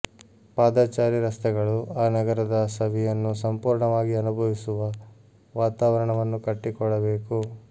ಪಾದಚಾರಿ ರಸ್ತೆಗಳು ಆ ನಗರದ ಸವಿಯನ್ನು ಸಂಪೂರ್ಣವಾಗಿ ಅನುಭವಿಸುವ ವಾತಾವರಣವನ್ನು ಕಟ್ಟಿಕೊಡಬೇಕು